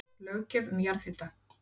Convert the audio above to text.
Löggjöf um jarðhita